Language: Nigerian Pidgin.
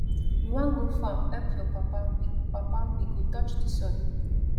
we wan go farm help your papa papa we go touch di soil